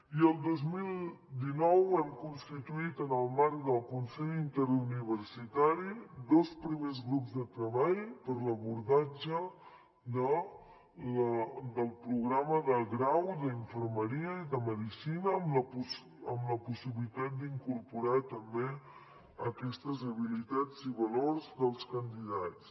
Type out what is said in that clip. i el dos mil dinou hem constituït en el marc del consell interuniversitari dos primers grups de treball per a l’abordatge del programa de grau d’infermeria i de medicina amb la possibilitat d’incorporar també aquestes habilitats i valors dels candidats